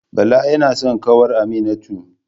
Bala yana son kawar Aminatu